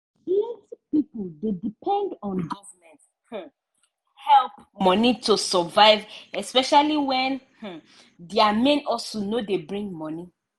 plenty pipo dey depend on government um help money to survive especially when um dia main hustle no dey bring money.